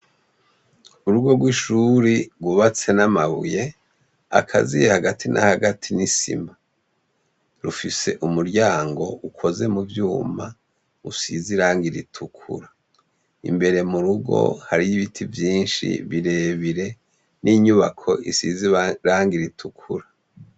Ku rugo rw'ishuri rwubatse n'amabuye, akaziye hagati na hagati n'isima. Rufise umuryango ukoze mu vyuma usize irangi ritukura. Imbere mu rugo, hariyo ibiti vyinshi birebire, n'inyubako isize irangi ritukura.